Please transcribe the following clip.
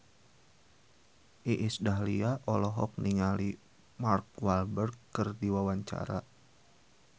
Iis Dahlia olohok ningali Mark Walberg keur diwawancara